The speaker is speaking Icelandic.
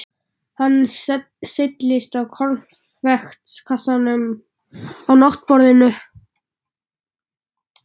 Hann seilist í konfektkassann á náttborðinu.